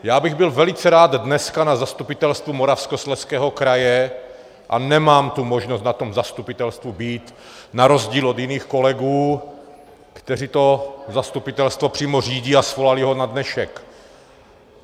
Já bych byl velice rád dneska na Zastupitelstvu Moravskoslezského kraje a nemám tu možnost na tom zastupitelstvu být na rozdíl od jiných kolegů, kteří to zastupitelstvo přímo řídí a svolali ho na dnešek.